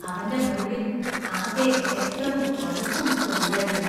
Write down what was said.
അവന്‍റെ മുറിവിൽ ആകെ രക്തവും, പഴുപ്പും ഒക്കെ ഉണ്ടായിരുന്നു.